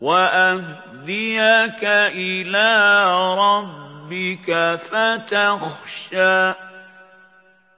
وَأَهْدِيَكَ إِلَىٰ رَبِّكَ فَتَخْشَىٰ